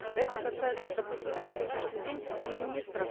это касается допустим на сегодняшний день и министров